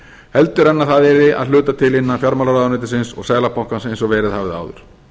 heldur en að það yrði að hluta til innan fjármálaráðuneytisins og seðlabankans eins og verið hafði áður